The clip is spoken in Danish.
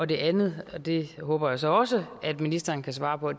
det andet håber jeg så også at ministeren kan svare på